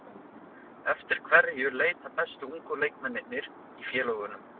Eftir hverju leita bestu ungu leikmennirnir í félögunum?